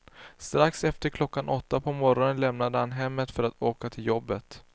Strax efter klockan åtta på morgonen lämnade han hemmet för att åka till jobbet.